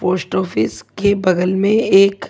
post office के बगल में एक--